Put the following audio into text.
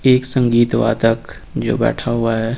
एक संगीत वादक जो बैठा हुआ है।